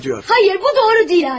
Xeyr, bu doğru deyil qardaş.